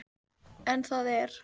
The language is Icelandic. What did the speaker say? En það er